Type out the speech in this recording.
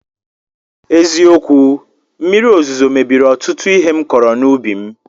Eziokwu, mmiri ozuzo mebiri ọtụtụ ihe m kọrọ n'ubi m